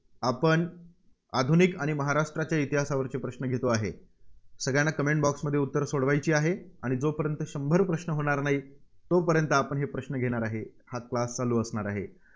आपण आधुनिक आणि महाराष्ट्राच्या इतिहासावरचे प्रश्न घेतो आहे. सगळ्यांना Comment box मध्ये उत्तरं सोडवायची आहेत. आणि जोपर्यंत शंभर प्रश्न होणार नाहीत, तोपर्यंत आपण हे प्रश्न घेणार आहे. हा class चालू असणार.